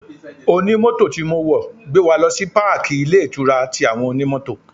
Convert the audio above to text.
Onimoto tí mo wọ̀ gbé wa lọ sí páàkí ilé-ìtura ti àwọn Onimoto.